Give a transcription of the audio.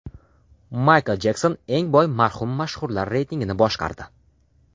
Maykl Jekson eng boy marhum mashhurlar reytingini boshqardi.